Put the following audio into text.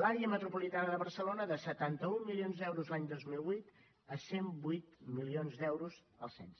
l’àrea metropolitana de barcelona de setanta un milions d’euros l’any dos mil vuit a cent i vuit milions d’euros el setze